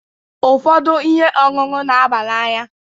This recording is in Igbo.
Ụfọdụ ihe ọṅụṅụ n'aba n'anya.